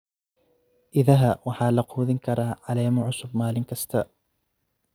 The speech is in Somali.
Idaha waxaa la quudin karaa caleemo cusub maalin kasta.